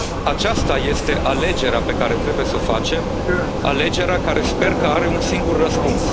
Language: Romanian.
separat. Aceasta este alegerea pe care trebuie să o facem, alegerea care sper că are un singur